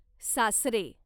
सासरे